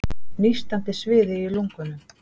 Nístandi sviði í lungunum.